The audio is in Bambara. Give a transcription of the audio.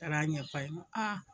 Taar'a ɲɛf'a ye ŋo